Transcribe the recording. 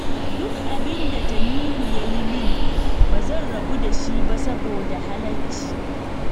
Duk abin da Tanimu ya yi min, ba zan rabu da shi ba saboda halacci